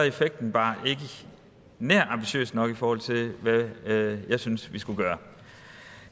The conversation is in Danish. effekten bare ikke nær ambitiøs nok i forhold til hvad jeg synes vi skulle gøre